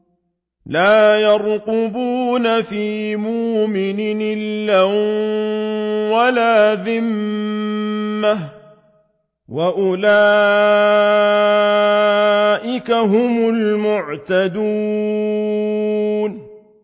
لَا يَرْقُبُونَ فِي مُؤْمِنٍ إِلًّا وَلَا ذِمَّةً ۚ وَأُولَٰئِكَ هُمُ الْمُعْتَدُونَ